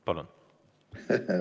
Palun!